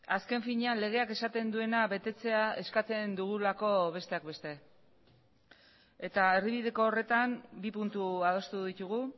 azken finean legeak esaten duena betetzea eskatzen dugulako besteak beste eta erdibideko horretan bi puntu adostu ditugu